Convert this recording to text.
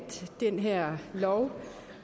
den her lov